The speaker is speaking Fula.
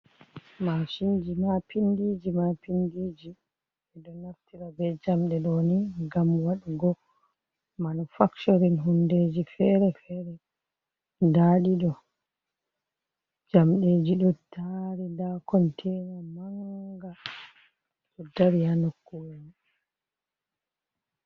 Mashinji ma pindiji ma pindiji, ɓe ɗo naftira be jamɗe ɗo ni ngam waɗugo manufacturin hundeji fere fere, nda ɗiɗo jamɗeji ɗo dari, nda kontena manga ɗo dari ha nokkuwel mai.